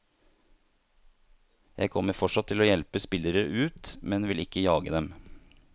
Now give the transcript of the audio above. Jeg kommer fortsatt til å hjelpe spillere ut, men vil ikke jage dem.